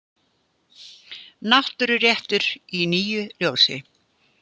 Náttúruréttur í nýju ljósi.